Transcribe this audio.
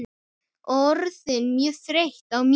Orðin mjög þreytt á mér.